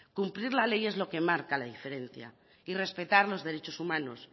cumplir la ley es lo que marca la diferencia y respetar los derechos humanos